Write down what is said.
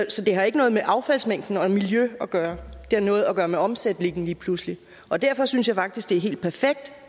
så det har ikke noget med affaldsmængden og miljø at gøre det har noget at gøre med omsætningen lige pludselig derfor synes jeg faktisk at det er helt perfekt